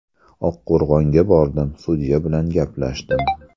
Oqqo‘rg‘onga bordim, sudya bilan gaplashdim.